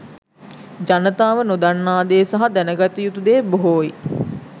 ජනතාව නොදන්නා දේ සහ දැනගතයුතු දේ බොහෝයි.